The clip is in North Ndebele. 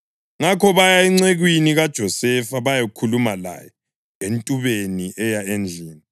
Ngakho baya encekwini kaJosefa bayakhuluma laye entubeni eya endlini.